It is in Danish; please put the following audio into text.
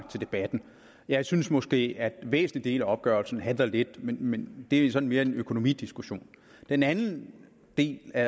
til debatten jeg synes måske at en væsentlig del af opgørelsen halter lidt men det er mere en økonomidiskussion den anden del af